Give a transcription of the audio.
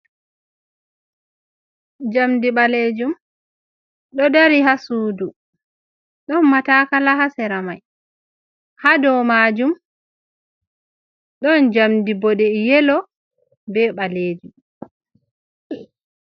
Njɗmndi ɓaleejum, ɗo dari haa suudu, ɗon mataakala haa sera may, haa do maajum ɗon njamndi boɗee- yelo, be ɓaleejum.